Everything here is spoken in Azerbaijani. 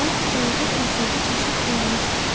Lakin balaca şahzadə çaşıb qalmışdı.